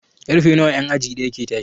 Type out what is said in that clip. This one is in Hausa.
Karfe nawa en aji ɗaya ke tashi?